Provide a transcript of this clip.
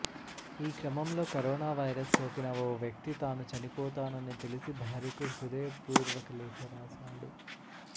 ఈ క్రమంలో corona virus సోకిన ఓ వ్యక్తి తాను చనిపోతానని తెలిసి భార్యకు హృదయపూర్యక లేఖ రాశాడు